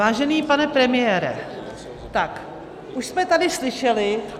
Vážený pane premiére, tak už jsme tady slyšeli -